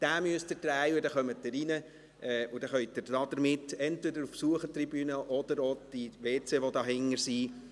Sie müssen also den Knauf drehen, dann kommen Sie hinein und können entweder auf die Besuchertribüne gelangen oder die WCs benützen, die sich dort hinten befinden.